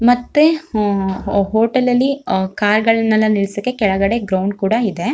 ಮತ್ತೆ ಅಹ್ ಹೋಟೆಲ್ ಅಲ್ಲಿ ಅಹ್ ಕಾರ್ ಗಳನ್ನೆಲ್ಲಾ ನಿಲ್ಸಕ್ಕೆ ಕೆಳಗಡೆ ಗ್ರೌಂಡ್ ಕೂಡ ಇದೆ.